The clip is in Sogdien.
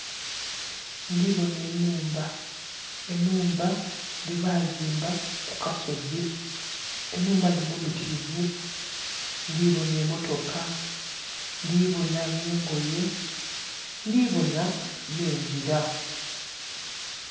Ndhiboona enhumba, enhumba dhebazimba ku kasozi enhumba dhinho mbitirivu ndhiboona emotoka, ndhiboona n' engoye ndhibonha nhe ngila.